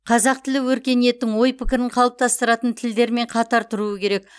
қазақ тілі өркениеттің ой пікірін қалыптастыратын тілдермен қатар тұруы керек